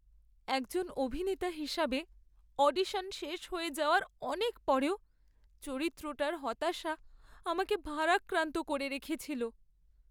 একজন অভিনেতা হিসাবে, অডিশন শেষ হয়ে যাওয়ার অনেক পরেও চরিত্রটার হতাশা আমাকে ভারাক্রান্ত করে রেখেছিল।